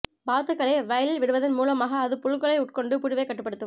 வாத்துகளை வயலில் விடுவதன் மூலமாக அது புழுக்களை உட்கொண்டு புழுவைக் கட்டுப்படுத்தும்